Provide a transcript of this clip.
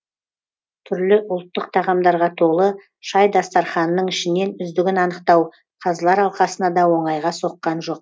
түрлі ұлттық тағамдарға толы шай дастарханының ішінен үздігін анықтау қазылар алқасына да оңайға соққан жоқ